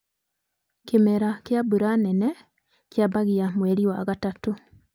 kĩmera kia mbura nene kiambagia mweri wa gatatu.